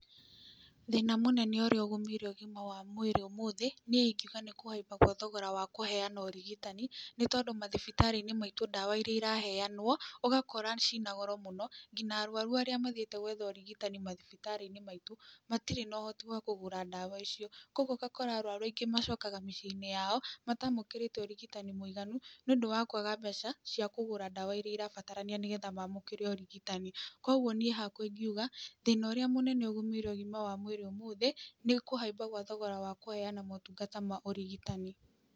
Thĩna mũnene ũrĩa ũgũmĩirwo ũgĩma mwega wa mwĩrĩ ũmũthĩ, niĩ ingiũga nĩ kũhaimba kwa thogora wa kũheana ũrigitani, nĩ tondũ mathibitarĩ-inĩ maitũ ndawa iria iraheanwo ũgakora cina goro mũno nginya arwarũ arĩa mathiĩte gwetha ũrigitani mathibitarĩ-inĩ maitũ matirĩ na ũhoti wa kũgũra ndawa icio, kogwo ũgakora rĩngĩ macokaga mĩciĩ-inĩ yao matamũkĩrĩte ũrigitani mũiganu nĩũndũ wa kwaga mbeca cia kũgũra ndawa iria irabatarania, nĩgetha mamũkĩre ũrigitani, kogwo niĩ hakwa ingiuga, thĩna ũrĩa mũnene ũgũmĩire ũgima wa mwĩrĩ ũmũthĩ nĩ kũhaimba gwa thogora wa kũheana ũtũngata wa ũrigitani.